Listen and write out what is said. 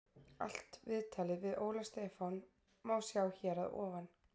Allt viðtalið við Óla Stefán má sjá hér að ofan.